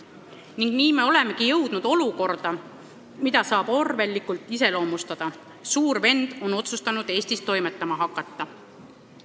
Ning nii me olemegi jõudnud olukorda, mida saab orwellilikult iseloomustada nii: suur vend on otsustanud Eestis toimetama hakata.